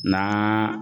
N'an